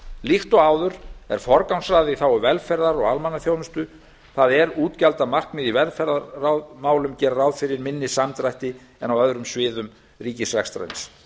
líkt og áður er forgangsraðað í þágu velferðar og almannaþjónustu það er útgjaldamarkmið í velferðarmálum gera ráð fyrir minni samdrætti en á öðrum sviðum ríkisrekstrarins